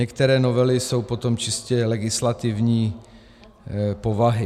Některé novely jsou potom čistě legislativní povahy.